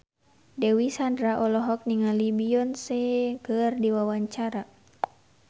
Dewi Sandra olohok ningali Beyonce keur diwawancara